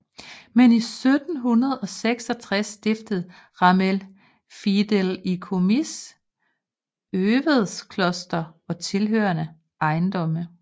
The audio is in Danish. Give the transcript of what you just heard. I 1766 stiftede Ramel fideikomis Övedskloster og tilhørende ejendomme